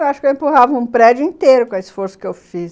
Eu acho que eu empurrava um prédio inteiro com o esforço que eu fiz.